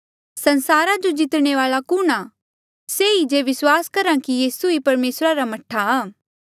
संसारा जो जितने वाल्आ कुणहां से ही जे विस्वास करहा कि यीसू ही परमेसरा रा मह्ठा आ